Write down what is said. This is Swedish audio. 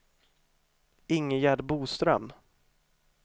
Ingegärd Boström